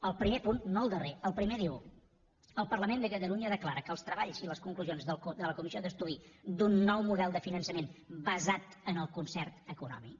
el primer punt no el darrer el primer diu el parlament de catalunya declara que els treballs i les conclusions de la comissió d’estudi d’un nou model de finançament basat en el concert econòmic